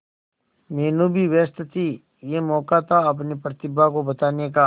मीनू भी व्यस्त थी यह मौका था अपनी प्रतिभा को बताने का